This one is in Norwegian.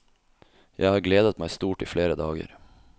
Jeg har gledet meg stort i flere dager.